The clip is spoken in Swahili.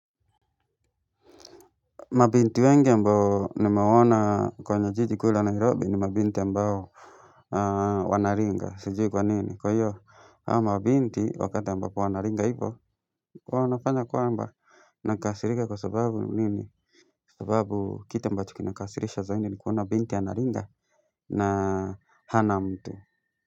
Mabinti wengi ambao nimewona kwenye jiji ku la nairobi ni mabinti ambao wanaringa sijui kwa nini kwa hiyo hawa mabinti wakati ambapo wanaringa ivo wanafanya kwamba nakasirika kwa sababu nini sababu kitu ambacho kinakasirisha zaindi ni kuona binti ya naringa na hana mtu.